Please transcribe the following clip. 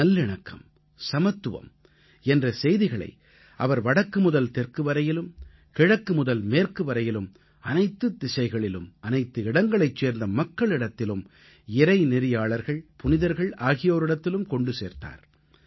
நல்லிணக்கம் சமத்துவம் என்ற செய்திகளை அவர் வடக்கு முதல் தெற்கு வரையிலும் கிழக்கு முதல் மேற்கு வரையிலும் அனைத்துத் திசைகளிலும் அனைத்து இடங்களைச் சேர்ந்த மக்களிடத்திலும் இறைநெறியாளர்கள் புனிதர்கள் ஆகியோரிடத்திலும் கொண்டு சென்றார்